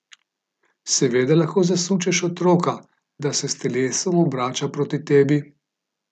Seveda lahko zasučeš otroka, da se s telesom obrača k tebi.